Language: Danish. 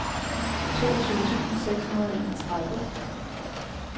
toogtyve tusind seks hundrede og enogtredive